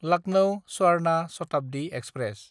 Lucknow Swarna Shatabdi express